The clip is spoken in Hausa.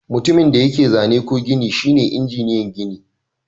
Mutumin da yake zane ko gini shine injiniyan gini.